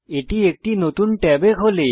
এটি একটি নতুন ট্যাবে খোলে